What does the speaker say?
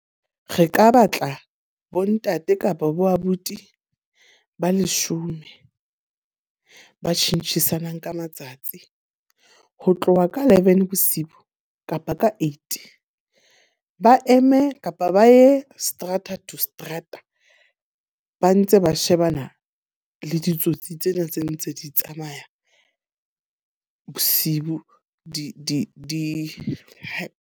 Re ka batla bontate kapa boabuti ba leshome. Ba tjhentjhisana ka matsatsi, ho tloha ka eleven bosiu kapa ka eight. Ba eme kapa ba ye seterata to seterata ba ntse ba shebana le ditsotsi tsena tse ntse di tsamaya bosibu di .